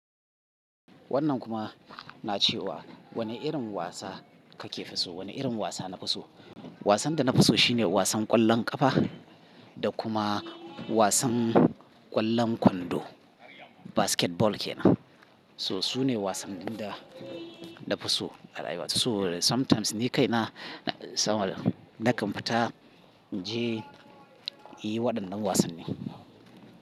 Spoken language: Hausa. Wannan kuma na ce wa wani irin wasa kakefi so? Wane irin wasa nafiso? Wasan da nafiso shine wasan ƙwallon ƙafa da kuma wasan ƙwallon kwando, basketball ke. So su ne wasannin da nafiso a rayuwa. Sabo da sometimes ni kaina nakan fita in je in yi waɗannan wasanni.